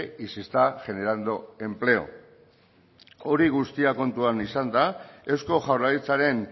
y se está generando empleo hori guztia kontuan izanda eusko jaurlaritzaren